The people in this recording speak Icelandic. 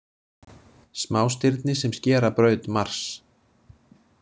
Smástirni sem skera braut Mars.